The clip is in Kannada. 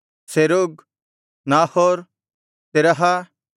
ಸೆರೂಗ್ ನಾಹೋರ್ ತೆರಹ